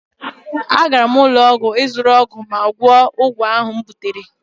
Agara m ụlọ ọgwụ ịzụrụ ọgwụ ma gwọọ ekzima ahụ m butere